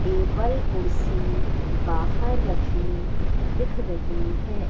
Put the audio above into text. Table कुर्सी बाहर रखी दिख रही है।